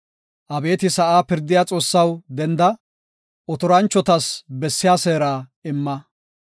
Abeeti sa7aa pirdiya Xoossaw denda; otoranchotas bessiya seera imma.